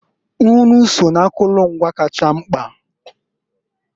Nnụ so n'akụlụ ngwa kacha mkpa.